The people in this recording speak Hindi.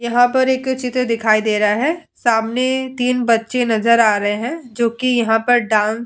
यहाँ पर एक चित्र दिखाई दे रहा है सामने तीन बच्चे नजर आ रहे हैं जो कि यहाँ पर डांस --